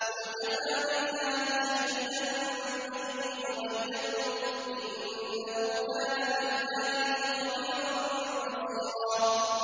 قُلْ كَفَىٰ بِاللَّهِ شَهِيدًا بَيْنِي وَبَيْنَكُمْ ۚ إِنَّهُ كَانَ بِعِبَادِهِ خَبِيرًا بَصِيرًا